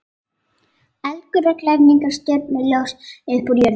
Eldgular glæringar, stjörnuljós upp úr jörðinni.